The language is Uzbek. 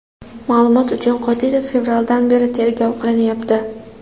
Ma’lumot uchun, Qodirov fevraldan beri tergov qilinyapti.